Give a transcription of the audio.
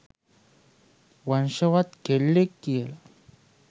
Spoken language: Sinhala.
වංශවත් කෙල්ලෙක් කියලා.